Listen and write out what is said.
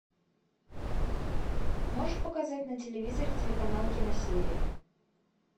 можешь показать на телевизоре телеканал киносерия